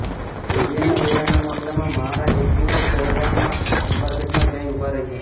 હૈડિયા વેરાના મામલામાં મહારાજ એક દિવસ દહેવાણના દરબારગઢમાં જઈ ઊભા રહ્યા